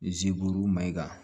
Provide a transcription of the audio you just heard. Ziburu mayiga